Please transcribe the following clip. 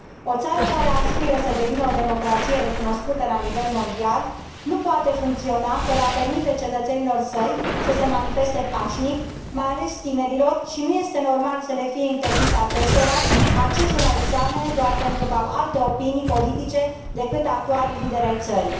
O țară care aspiră să devină o democrație recunoscută la nivel mondial nu poate funcționa fără a permite cetățenilor săi să se manifeste pașnic, mai ales tinerilor, și nu este normal să le fie interzis acestora accesul la examene doar pentru că au alte opinii politice decât actualii lideri ai țării.